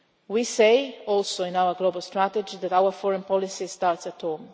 We say also in our global strategy that our foreign policy starts at home.